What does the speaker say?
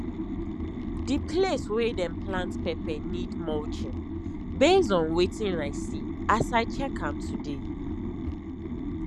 the place wey them plant pepper need mulching base on wetin i see as i check am today